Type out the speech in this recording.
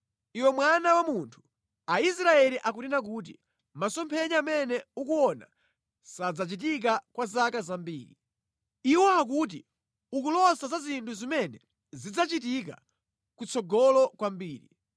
“Iwe mwana wa munthu, Aisraeli akunena kuti, ‘masomphenya amene ukuona sadzachitika kwa zaka zambiri. Iwo akuti ukulosa za zinthu zimene zidzachitika ku tsogolo kwambiri.’